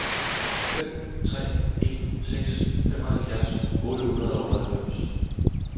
fem tre en seks femoghalvfjerds otte hundrede og otteoghalvfems